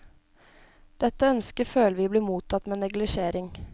Dette ønsket føler vi blir mottatt med neglisjering.